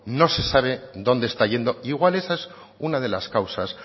no se sabe dónde está yendo e igual esa es una de las causas